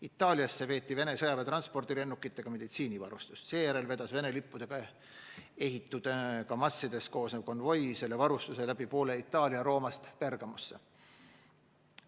Itaaliasse veeti Vene sõjaväe transpordilennukitega meditsiinivarustust, seejärel vedas Vene lippudega ehitud KAMAZ-idest koosnev konvoi selle varustuse läbi poole Itaalia Rooma lähedalt Bergamosse.